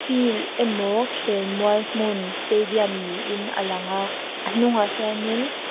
field emaw khelmual hmun stadium niin alang a a hnungah hianin--